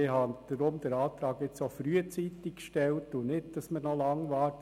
Ich habe darum den Antrag jetzt auch frühzeitig gestellt, damit man nicht noch lange wartet.